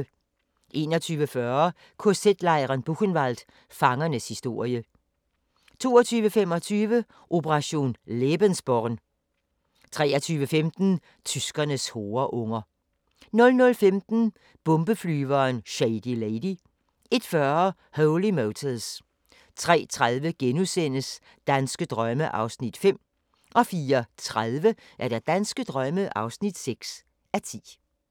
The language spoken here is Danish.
21:40: KZ-lejren Buchenwald – Fangernes historie 22:25: Operation lebensborn 23:15: Tyskernes horeunger 00:15: Bombeflyveren Shady Lady 01:40: Holy Motors 03:30: Danske drømme (5:10)* 04:30: Danske drømme (6:10)